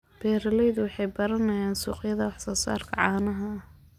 Beeraleydu waxay baranayaan suuqyada wax soo saarka caanaha.